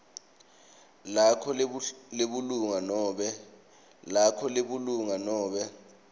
lakho lebulunga nobe